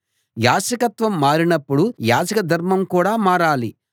యాజకత్వం మారినప్పుడు యాజక ధర్మం కూడా మారాలి